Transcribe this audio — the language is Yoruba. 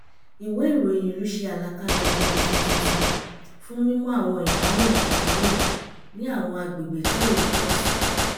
ìwé ìròyìn ìlú ṣe àlàkalẹ̀ àwọn òfin tuntun fún mímú àwọn ìdáhùn pàjáwìrì ní àwọn agbègbè tí èrò pọ̀ sí